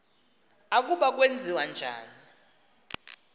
ukuba kwenziwa njani